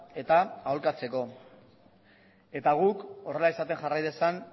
eta aholkatzeko eta guk horrela izaten jarrai dezan